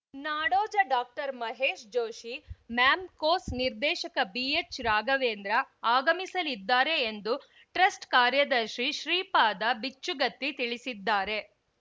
ನಾಡೋಜ doctor Mahesh Joshi ma'am ಕೋಸ್‌ ನಿರ್ದೇಶಕ ಬಿಎಚ್‌ರಾಘವೇಂದ್ರ ಆಗಮಿಸಲಿದ್ದಾರೆ ಎಂದು ಟ್ರಸ್ಟ್‌ ಕಾರ್ಯದರ್ಶಿ ಶ್ರೀಪಾದಬಿಚ್ಚುಗತ್ತಿ ತಿಳಿಸಿದ್ದಾರೆ